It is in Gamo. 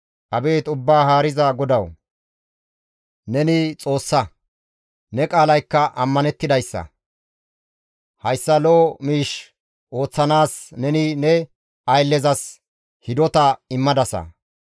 Abeet Ubbaa Haariza GODAWU! Neni Xoossa; ne qaalaykka ammanettidayssa; hayssa lo7o miish ooththanaas neni ne ayllezas hidota immadasa.